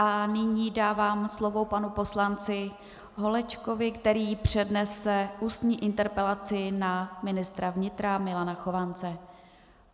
A nyní dávám slovo panu poslanci Holečkovi, který přednese ústní interpelaci na ministra vnitra Milana Chovance.